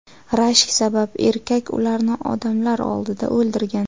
Rashk sabab erkak ularni odamlar oldida o‘ldirgan.